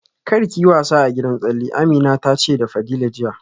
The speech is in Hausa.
Kar ki yi wasa a gidan tsalle, Amina ta ce da Fadila jiya